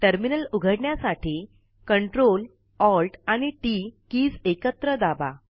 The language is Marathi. टर्मिनल उघडण्यासाठी सीटीआरटी ALT टीटी कीज एकत्र दाबा